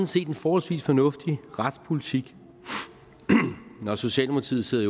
set en forholdsvis fornuftig retspolitik når socialdemokratiet sidder